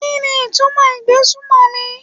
Kíni ìtumọ̀ ìgbésùmọ̀mí?